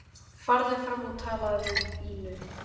Farðu fram og talaðu við Ínu.